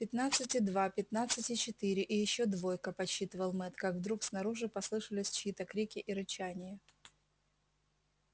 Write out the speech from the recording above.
пятнадцать и два пятнадцать и четыре и ещё двойка подсчитывал мэтт как вдруг снаружи послышались чьи то крики и рычание